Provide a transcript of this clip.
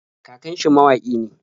Kakan shi mawaƙi ne.